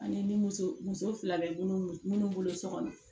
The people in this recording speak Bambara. Ani ni muso muso fila bɛ munnu bolo so kɔnɔ